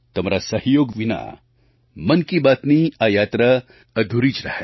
તમારા સહયોગ વિના મન કી બાતની આ યાત્રા અધૂરી જ રહેત